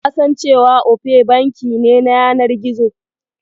Kasan cewa Opay banki ne na yanar gizo?